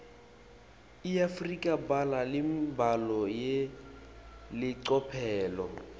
iafrika ibhala imibhalo yelicophelo